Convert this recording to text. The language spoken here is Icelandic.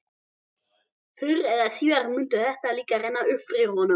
Fyrr eða síðar myndi það líka renna upp fyrir honum.